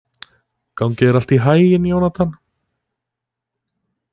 Gangi þér allt í haginn, Jónatan.